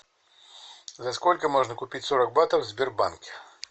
за сколько можно купить сорок батов в сбербанке